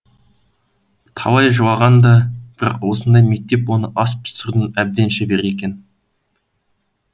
талай жылаған да бірақ осындай мектеп оны ас пісірудің әбден шебері еткен